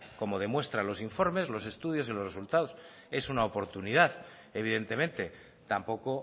como demuestran los informes los estudios y los resultados es una oportunidad evidentemente tampoco